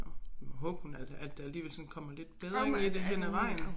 Nåh vi må håbe hun er at at der alligevel sådan kommer lidt bedring i det hen ad vejen